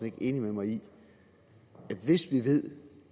ikke enig med mig i at hvis vi ved